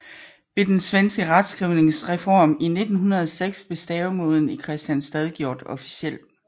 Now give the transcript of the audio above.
Ved den svenske retskrivningsreform i 1906 blev stavemåden Kristianstad gjort officiel